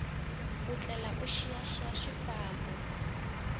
u tlhela u xiyaxiya swifambo